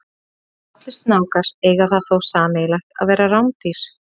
Allir snákar eiga það þó sameiginlegt að vera rándýr.